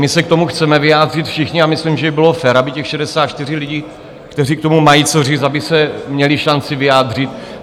My se k tomu chceme vyjádřit všichni a myslím, že by bylo fér, aby těch 64 lidí, kteří k tomu mají co říct, aby se měli šanci vyjádřit.